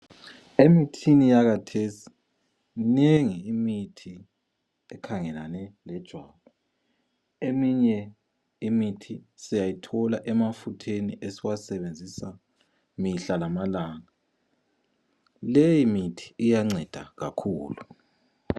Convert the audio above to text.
Emithini yakhathesi mInengi imithi ekhangelane lejwabu. Eminye imithi siyayithola emafutheni esiwasebenzisa imihla lamalanga. Leyi mithi iyanceda kakhulu.